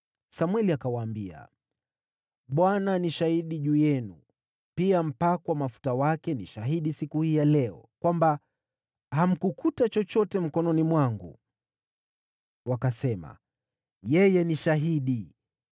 Samweli akawaambia, “ Bwana ni shahidi juu yenu, pia mpakwa mafuta wake ni shahidi siku hii ya leo, kwamba hamkukuta chochote mkononi mwangu.” Wakasema, “Yeye ni shahidi.”